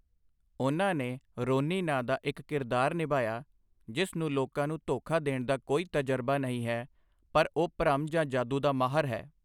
ਉਨ੍ਹਾਂ ਨੇ ਰੋਨੀ ਨਾਂ ਦਾ ਇੱਕ ਕਿਰਦਾਰ ਨਿਭਾਇਆ, ਜਿਸ ਨੂੰ ਲੋਕਾਂ ਨੂੰ ਧੋਖਾ ਦੇਣ ਦਾ ਕੋਈ ਤਜਰਬਾ ਨਹੀਂ ਹੈ, ਪਰ ਉਹ ਭਰਮ ਜਾਂ ਜਾਦੂ ਦਾ ਮਾਹਰ ਹੈ।